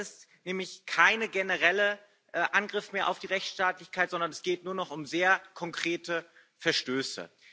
Das ist nämlich kein genereller Angriff mehr auf die Rechtstaatlichkeit, sondern es geht nur noch um sehr konkrete Verstöße.